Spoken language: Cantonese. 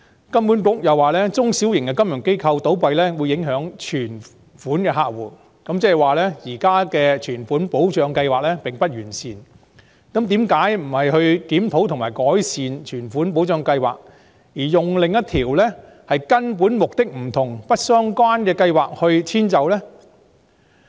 金管局又指中小型金融機構倒閉會影響有存款的客戶，這意味現時存款保障計劃並不完善，但為何不是檢討和改善存款保障計劃，而是用另一條根本目的不同而且不相關的規則來遷就呢？